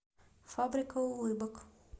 фабрика улыбок